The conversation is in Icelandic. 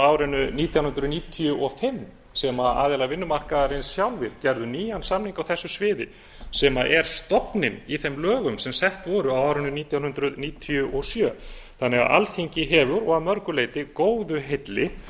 árinu nítján hundruð níutíu og fimm sem aðilar vinnumarkaðarins sjálfir gerðu nýjan samning á þessu sviði sem er stofninn í þeim lögum sem sett voru árinu nítján hundruð níutíu og sjö þannig að alþingi hefur og að mörgu leyti góðu heilli